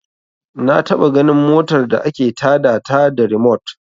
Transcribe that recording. Na taɓa ganin motar da ake ta da ta da rimot